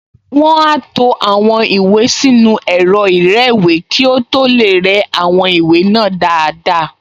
Wọ́n á to àwọn ìwé sínú ẹ̀rọ ìrẹ́wèé kí ó tó lè rẹ́ àwọn ìwé náà dáadáa